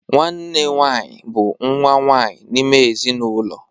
Nwanne nwaanyị bụ nwa nwaanyị n'ime ezinụlọ.